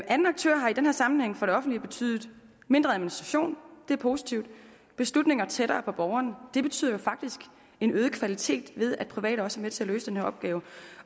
anden aktør har i den her sammenhæng for det offentlige betydet mindre administration og det er positivt og beslutninger tættere på borgerne og det betyder jo faktisk en øget kvalitet ved at private også er med til at løse den her opgave